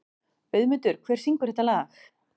Auðmundur, hver syngur þetta lag?